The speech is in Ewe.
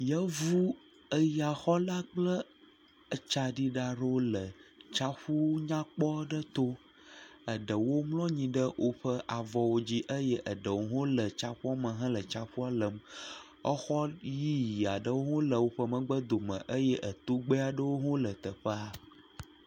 Yevu eyaxɔla kple etsaɖila aɖewo tsaƒu nyakpɔ aɖe to. Eɖewo mlɔ anyi ɖe woƒe avɔwo dzi eye eɖewo hã le tsiaƒua me hele tsaƒua lem. Exɔ yiyi aɖewo hã le woƒe megbedome eye etogbɛ aɖewo hã le teƒea.